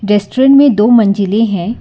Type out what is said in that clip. Restaurant में दो मंजिलें है।